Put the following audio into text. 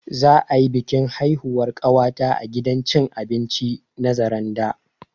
Za'a yi bikin haihuwar ƙawata a gidan cin abinci na Zaranda